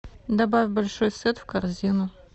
добавь большой сет в корзину